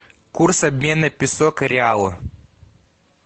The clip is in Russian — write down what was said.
курс обмена песо к реалу